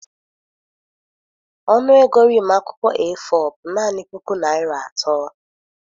Ọnụ ego rim akwụkwọ A4 bụ naanị puku naira atọ.